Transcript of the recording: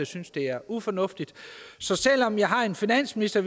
synes det er ufornuftigt så selv om vi har en finansminister